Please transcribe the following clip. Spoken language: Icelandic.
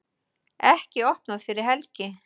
Ekki opnað fyrir helgi